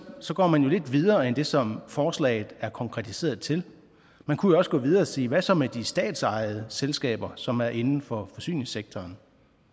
så går lidt videre end det som forslaget er konkretiseret til man kunne også gå videre og sige hvad så med de statsejede selskaber som er inden for forsyningssektoren